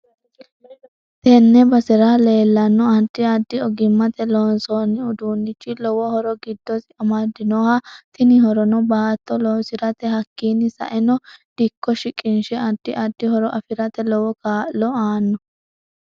Tenne basera leelanno addi addi ogimate loonsooni uduunichi lowo horo giddosi amadinoho. Tini horono baatto loosirate hakiini sa'enno dikko shiqinshe addi addi horo afirate lowo kaa'lo aanno